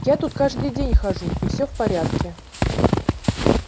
я тут каждый день хожу и все в порядке